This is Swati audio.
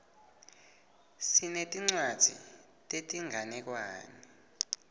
sinetincwadzi tetinganekwane